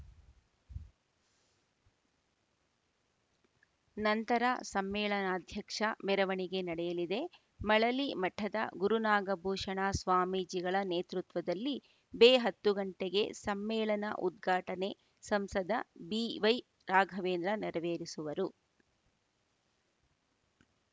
ನಂತರ ಸಮ್ಮೇಳನಾಧ್ಯಕ್ಷ ಮೆರವಣಿಗೆ ನಡೆಯಲಿದೆ ಮಳಲಿ ಮಠದ ಗುರುನಾಗಭೂಷಣ ಸ್ವಾಮೀಜಿಗಳ ನೇತೃತ್ವದಲ್ಲಿ ಬೆ ಹತ್ತು ಗಂಟೆಗೆ ಸಮ್ಮೇಳನ ಉದ್ಘಾಟನೆ ಸಂಸದ ಬಿವೈರಾಘವೇಂದ್ರ ನೆರವೇರಿಸುವರು